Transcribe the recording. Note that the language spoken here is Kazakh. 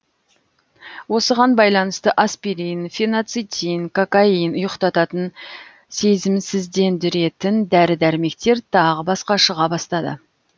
осыған байланысты аспирин фенацитин кокаин ұйықтататын сезімсіздендіретін дәрі дәрмектер тағы басқа шыға бастады